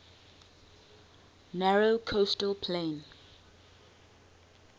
narrow coastal plain